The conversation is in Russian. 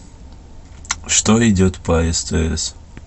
что идет по стс